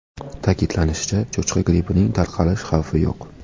Ta’kidlanishicha, cho‘chqa grippining tarqalish xavfi yo‘q.